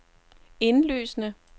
indlysende